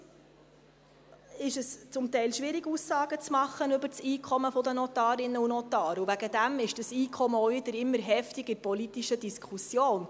Heute ist es zum Teil schwierig, Aussagen über das Einkommen der Notarinnen und Notare zu machen, und deswegen ist dieses Einkommen auch immer wieder heftig in der politischen Diskussion.